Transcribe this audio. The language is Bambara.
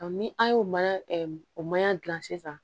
ni an y'o mana o mana dilan sisan